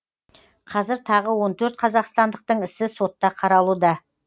қазір тағы он төрт қазақстандықтың ісі сотта қаралуда